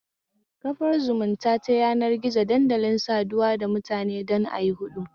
Kafar zumunta ta yanar gizo dandalin saduwa da mutane don ayi huɗɗu